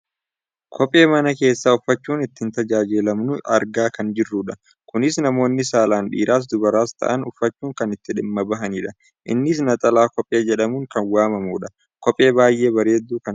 kophee mana keessa uffachuun itti tajaajilamnu argaa kan jirrudha. kunis namooni saalaan dhiiras dubaras ta'an uffachuun kan itti dhimma bahanidha. innis naxalaa kophee jedhamuun kan waammamudha. kophee baayyee bareedduu kan taatedha.